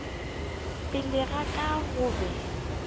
pele ga ka go be